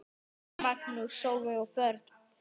Magnús, Sólveig og börn.